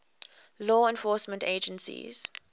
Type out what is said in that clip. law enforcement agencies